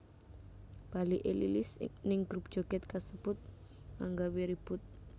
Baliké Lilis ning grup joget kasebut anggawé ribut